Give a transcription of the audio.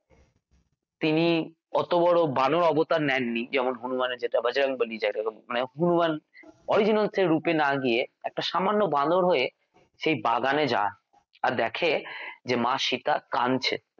তিনি অত বড় বানর অবতার নেননি যেমন হনুমানের যেটা বজরংবলী যাকে হনুমান original সেই রূপ এ না গিয়ে একটা সামান্য বাঁদর হয়ে সেই বাগানে যায় আর দেখে যে মা সীতা কাঁদছে